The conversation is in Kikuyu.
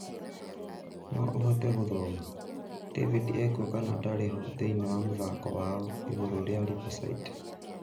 No ũhote gũthoma : David ekuo kana ndarĩ ho thĩinĩ wa mũthako wao iguru rĩa Riverside?